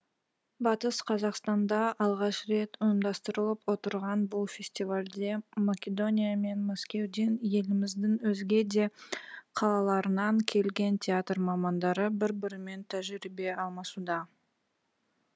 батыс қазақстанда алғаш рет ұйымдастырылып отырған бұл фестивальде македония мен мәскеуден еліміздің өзге де қалаларынан келген театр мамандары бір бірімен тәжірибе алмасуда